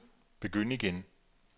begynd igen